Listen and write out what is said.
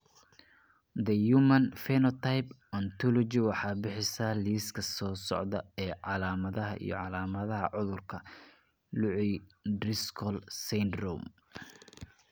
The Human Phenotype Ontology waxay bixisaa liiska soo socda ee calaamadaha iyo calaamadaha cudurka Lucey Driscoll syndrome.